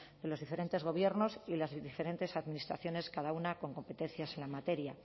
de los diferentes gobiernos y de las diferentes administraciones cada una con competencias en la materia